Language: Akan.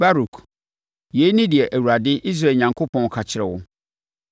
“Baruk, yei ne deɛ Awurade, Israel Onyankopɔn ka kyerɛ wo: